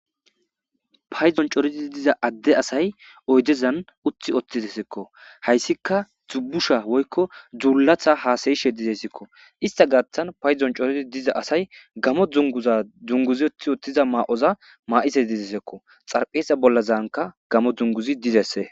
payzon corozi diza adde asay oydezan utthi ottizesikko hayssika dubusha woykko dzuulatha haasayishe dizesekko ista gaatan payzon corodi diza asay gamo dunguza dzunguzi utthi ottiza maa7oza maa7ise dizesekko xarpheesa bollazanka gamo dunguzi dizesse